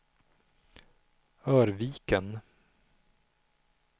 Örviken